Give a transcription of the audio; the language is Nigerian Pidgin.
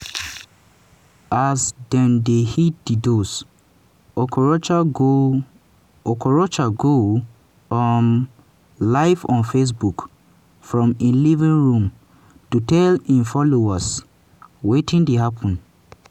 as dem dey hit di doors okorocha go okorocha go um live on facebook from im living room to tell im followers wetin dey happen.